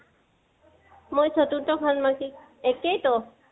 মই চতুৰ্থ সন্মাসীকত, একেই তো